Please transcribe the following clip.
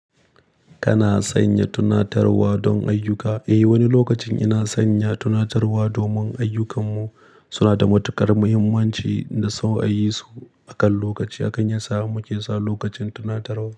Kana sanya tunatarwa don ayyuka? Eh, wani lokacin ina sanya tunatarwa domin ayyukanmu suna da matuƙar muhimmanci da son ayi su akan lokaci. Hakan yi sa muke sa lokacin tunatarwa.